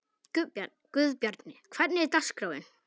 Guðbjarni, hvernig er dagskráin?